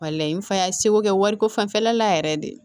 Walayi n fana ye seko kɛ wariko fanfɛla la yɛrɛ de